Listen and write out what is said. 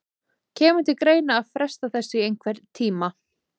Kemur til greina að fresta þessu í einhvern tíma?